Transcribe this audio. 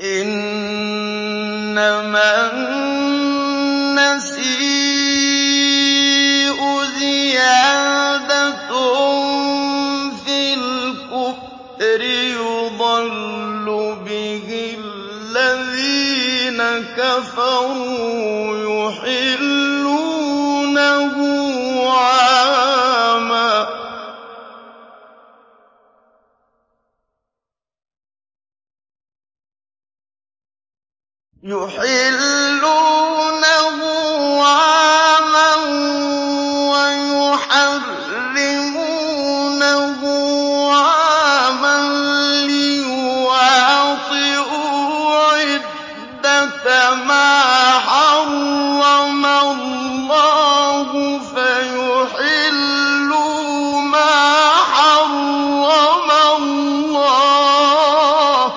إِنَّمَا النَّسِيءُ زِيَادَةٌ فِي الْكُفْرِ ۖ يُضَلُّ بِهِ الَّذِينَ كَفَرُوا يُحِلُّونَهُ عَامًا وَيُحَرِّمُونَهُ عَامًا لِّيُوَاطِئُوا عِدَّةَ مَا حَرَّمَ اللَّهُ فَيُحِلُّوا مَا حَرَّمَ اللَّهُ ۚ